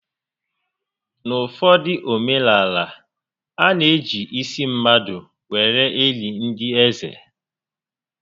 N'uụfọdụ omenaala, a na eji isi mmadụ were eli ndị eze